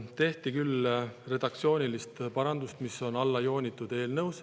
Tehti küll redaktsiooniline parandus, mis on eelnõus alla joonitud.